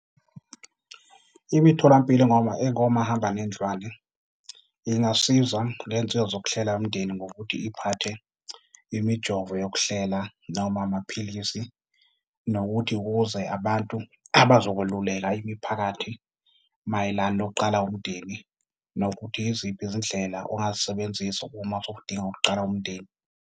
Imitholampilo engomahambanendlwana ingasiza ngey'nsiza zokuhlela umndeni ngokuthi iphathe imijovo yokuhlela, noma amaphilisi. Nokuthi ukuze abantu abazokweluleka imiphakathi mayelana nokuqala umndeni. Nokuthi yiziphi izindlela ongazisebenzisa uma sowudinga ukuqala umndeni.